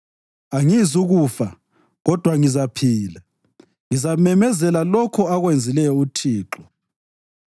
Angizukufa kodwa ngizaphila, ngizamemezela lokho akwenzileyo uThixo.